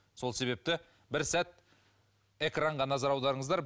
сол себепті бір сәт экранға назар аударыңыздар